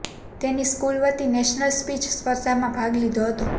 તેની સ્કૂલ વતી national speech સ્પર્ધામાં ભાગ લીધો હતો